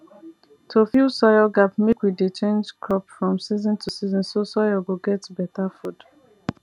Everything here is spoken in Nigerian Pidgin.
to fill soil gap mek we dey change crop from season to season so soil go get better food